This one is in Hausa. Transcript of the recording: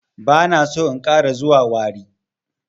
Bana so in ƙara zuwa warri.